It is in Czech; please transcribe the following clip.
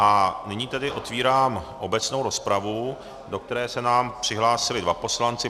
A nyní tedy otvírám obecnou rozpravu, do které se nám přihlásili dva poslanci.